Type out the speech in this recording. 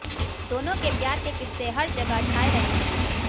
दोनों के प्यार के किस्से हर जगह छाए रहने लगे